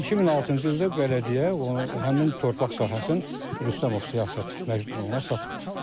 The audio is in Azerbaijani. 2006-cı ildə bələdiyyə o həmin torpaq sahəsinin Rüstəmov Siyasət Məcnun oğluna satıb.